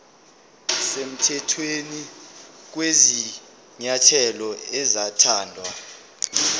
semthethweni kwezinyathelo ezathathwa